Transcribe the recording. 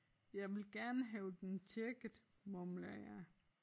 Jeg vil gerne have den tjekket mumler jeg